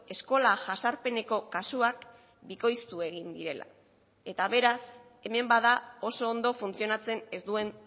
eskola jazarpeneko kasuak bikoiztu egin direla eta beraz hemen bada oso ondo funtzionatzen ez duen